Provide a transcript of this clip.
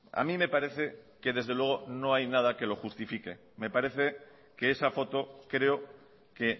a mí me parece que desde luego no hay nada que lo justifique me parece que esa foto creo que